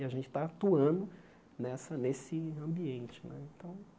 E a gente está atuando nessa nesse ambiente né. Então